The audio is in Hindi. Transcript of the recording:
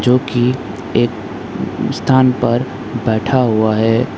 जो की एक स्थान पर बैठा हुआ है।